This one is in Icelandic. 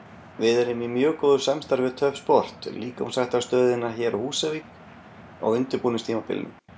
Við erum í mjög góðu samstarfi við Töff-sport, líkamsræktarstöðina hér á Húsavík, á undirbúningstímabilinu.